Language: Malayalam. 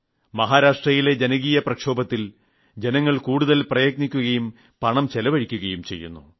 മഹാരാഷ്ട്രയിലെ ജനകീയ മുന്നേറ്റത്തിൽ ജനങ്ങൾ കൂടുതൽ പ്രയത്നിക്കുകയും പണം ചെലവഴിക്കുകയും ചെയ്യുന്നു